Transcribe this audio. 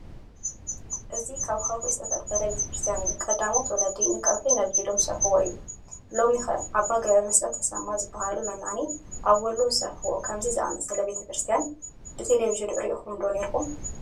እዚ ካብ ከውሒ ዝተፈልፈለ ቤተ ክርስቲያን እዩ፡፡ ቀዳሞት ወለዲ ንከውሒ ነዲሎም ዝሰርሕዎ እዩ፡፡ ሎሚ ኸ ኣባ ገብረመስቀል ተሰማ ዝበሃሉ መናኒ ኣብ ወሎ ዝሰርሕዎ ከምዚ ዝኣምሰለ ቤተ ክርስቲያን ብቴለብዥን ርኢኹም ዶ ኔርኩም?